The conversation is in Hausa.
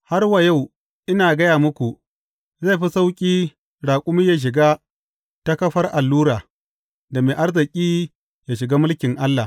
Har wa yau ina gaya muku, zai fi sauƙi raƙumi yă shiga ta kafar allura, da mai arziki yă shiga mulkin Allah.